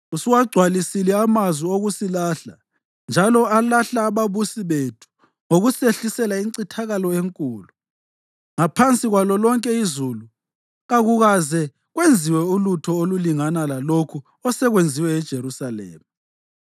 Usuwagcwalisile amazwi okusilahla njalo alahla ababusi bethu ngokusehlisela incithakalo enkulu. Ngaphansi kwalo lonke izulu kakukaze kwenziwe ulutho olulingana lalokhu osekwenziwe eJerusalema.